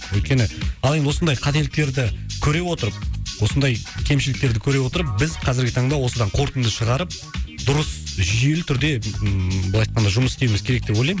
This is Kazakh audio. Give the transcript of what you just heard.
өйткені ал енді осындай қателіктерді көре отырып осындай кемшіліктерді көре отырып біз қазіргі таңда осыдан қортынды шығарып дұрыс жүйелі түрде ммм былай айтқанда жұмыс істеуіміз керек деп ойлаймын